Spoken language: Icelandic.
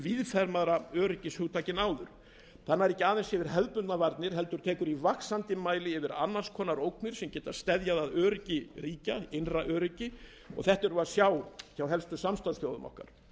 víðfeðmara öryggishugtaki en áður það nær ekki aðeins yfir hefðbundnar varnir heldur tekur í vaxandi mæli til annars konar ógna sem geta steðjað að innra öryggi ríkja þetta sjáum við hjá helstu samstarfsþjóðum okkar